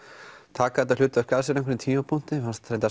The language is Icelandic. taka þetta hlutverk að sér á einhverjum tímapunkti mér fannst